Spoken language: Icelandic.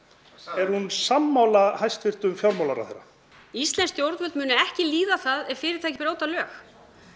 er hún sammála hæstvirtum fjármálaráðherra íslensk stjórnvöld munu ekki líða það ef fyrirtæki brjóta lög